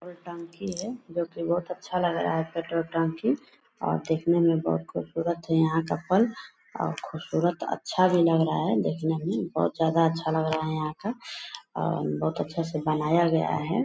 दो टंकी है जो की बहुत अच्छा लग रहा पेट्रोल टंकी और दिखने में बहुत खूबसूरत है यहाँ का पंप और खूबसूरत अच्छा भी लग रहा देखने में बहुत ज्यादा अच्छा लग रहा है यहाँ का और बहुत अच्छा से बनाया गया है ।